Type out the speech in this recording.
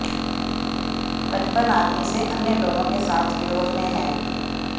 बचपन आदमी से अन्य लोगों के साथ विरोध में हैं